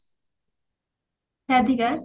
Radhika?